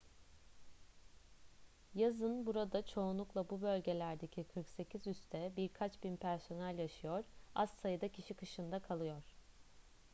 yazın burada çoğunlukla bu bölgelerdeki 48 üste birkaç bin personel yaşıyor az sayıda kişi kışın da kalıyor